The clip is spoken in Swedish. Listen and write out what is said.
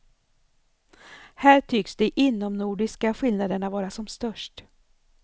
Här tycks de inomnordiska skillnaderna vara som störst.